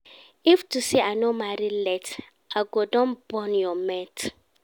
If to say I no marry late I go don born your mate